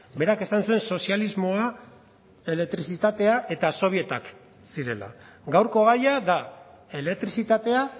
berak esan zuen sozialismoa elektrizitatea eta sobietak zirela gaurko gaia da elektrizitatea